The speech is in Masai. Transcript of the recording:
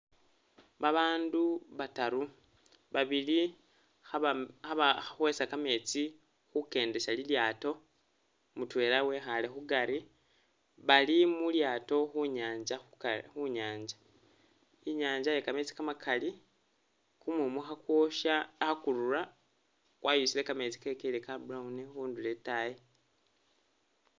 Babandu bataru, babili khaba.. khabakhwesa kameetsi khukendesa lilyaato, mutwela wekhaale khukari, bali mulyaato khunyanza khu... Khunyanza, i'nyanza ye kameetsi kamakali, kumumu khakwosha, khakurura kwayusile kameetsi kekelile Ka brown khundulo i'taayi